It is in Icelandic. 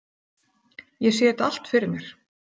Ég sé þetta allt fyrir mér.